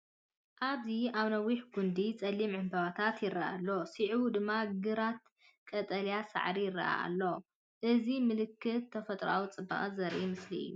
ኣብዚ ኣብ ነዋሕቲ ጕንዲ ጸሊም ዕምባባታት ይረአ ኣሎ። ስዒቡ ድማ ግራት ቀጠልያ ሳዕሪ ይረአ ኣሎ። እዚ ምልክት ተፈጥሮኣዊ ጽባቐ ዘርኢ ምስሊ እዩ።